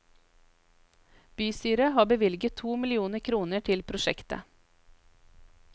Bystyret har bevilget to millioner kroner til prosjektet.